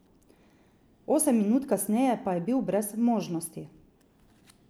Osem minut kasneje pa je bil brez možnosti.